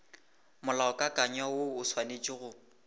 molaokakanywa woo o swanetše go